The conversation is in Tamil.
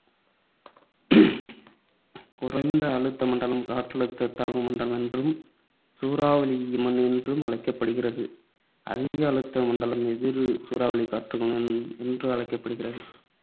குறைந்த அழுத்த மண்டலம் காற்றழுத்த தாழ்வு மண்டலம் என்றும், சூறாவளி என்றும் அழைக்கப்படுகிறது. அதிக அழுத்த மண்டலம் எதிர் சூறாவளி காற்றுகள் என்று அழைக்கப்படுகிறது.